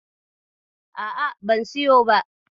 A'a ban siyo ba.